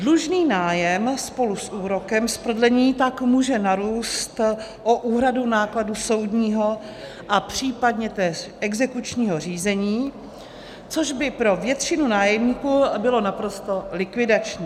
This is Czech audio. Dlužný nájem spolu s úrokem z prodlení tak může narůst o úhradu nákladů soudního a případně též exekučního řízení, což by pro většinu nájemníků bylo naprosto likvidační.